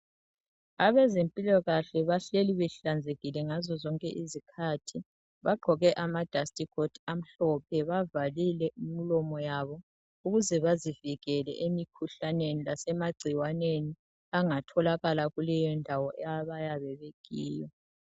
Abezempilakahle bahleli behlanzekile ngazozonke izikhathi. Bagqoke ama Dust coat amhlophe bavalile imlomo yabo ukuze bazivikele emkhuhlaneni lasemagcikwaneni angatholakala kukeyo ndawo abayabe bekiyo.